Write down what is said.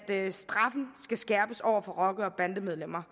at straffen skal skærpes over for rocker og bandemedlemmer